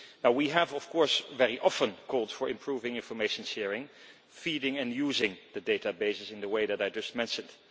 We have of course very often called for improving information sharing, feeding and using the databases in the way that I just mentioned.